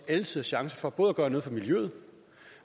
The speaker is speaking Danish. alle tiders chance for både at gøre noget for miljøet